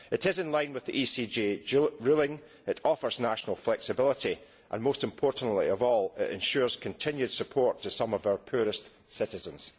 It is in line with the ECJ ruling, it offers national flexibility and most importantly it ensures continued support to some of our poorest citizens.